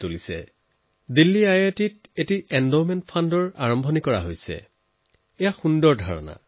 IIT দিল্লীয়ে এটা endowment fund আৰম্ভ কৰিছে যি এটা চমকপ্ৰদ আইডিয়া